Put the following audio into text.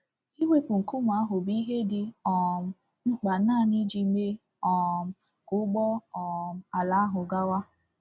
Iwepụ nkume ahụ bụ ihe dị um mkpa naanị iji mee um ka ụgbọ um ala ahụ gawa.